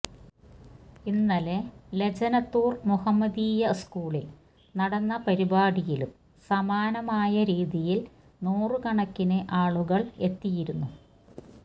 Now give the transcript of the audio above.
ഇന്നലെ ലജനത്തുര് മുഹമ്മദീയ സ്കൂളില് നടന്ന പരിപാടിയിലും സമാനമായ രീതിയില് നൂറുകണക്കിന് ആളുകള് എത്തിയിരുന്നു